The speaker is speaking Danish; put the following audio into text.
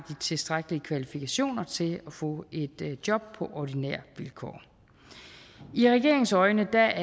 tilstrækkelige kvalifikationer til at få et job på ordinære vilkår i regeringens øjne er